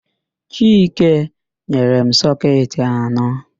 Chike nyere m sọketị anọ.